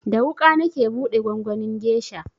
Da wuƙa nake buɗe gwangwanin gesha